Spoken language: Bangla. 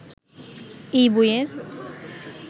এই বইয়ের